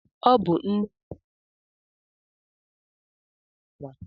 Ọ bụ nne nke nwaanyị mụrụ nwa na-aga ọmụgwọ ma amụsia nwa.